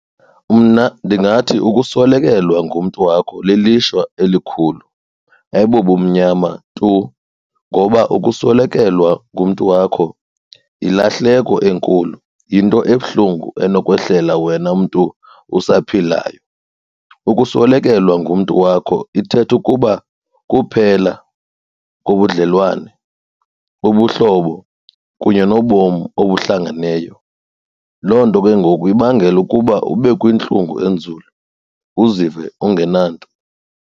Mna ndingathi ukuswelekelwa ngumntu wakho lilishwa elikhulu ayibobumnyama tu ngoba ukuswelekelwa ngumntu wakho yilahleko enkulu, yinto ebuhlungu enokwehlelwa wena mntu usaphilayo. Ukuswelekelwa ngumntu wakho ithetha ukuba kuphela kobudlelwane, ubuhlobo kunye nobomi obuhlangeneyo. Loo nto ke ngoku ibangela ukuba ube kwintlungu enzulu, uzive ungenanto.